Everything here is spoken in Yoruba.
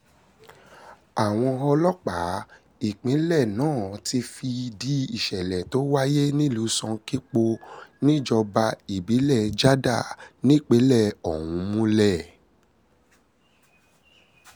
àwọn ọlọ́pàá ìpínlẹ̀ náà ti fìdí ìsẹ̀lẹ̀ tó wáyé nílùú sànkípò níjọba ìbílẹ̀ jádà nípìnlẹ̀ ọ̀hún múlẹ̀